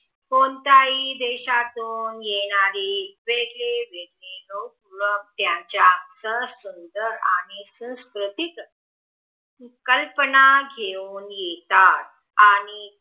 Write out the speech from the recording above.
कोणताही देशातून येणारे वेगवेगळे लोक त्यांच्या सहसुंदरआणि सांस्कृतिक कल्पना घेऊन येतात आणि